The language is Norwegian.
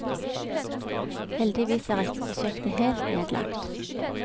Heldigvis er ikke prosjektet helt nedlagt.